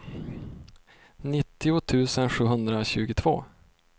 nittio tusen sjuhundratjugotvå